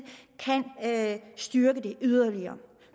kan styrke det yderligere